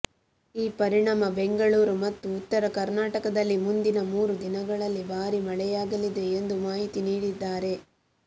ಈ ಪರಿಣಾಮ ಬೆಂಗಳೂರು ಮತ್ತು ಉತ್ತರ ಕರ್ನಾಟದಲ್ಲಿ ಮುಂದಿನ ಮೂರು ದಿನಗಳಲ್ಲಿ ಭಾರೀ ಮಳೆಯಾಗಲಿದೆ ಎಂದು ಮಾಹಿತಿ ನೀಡಿದ್ದಾರೆ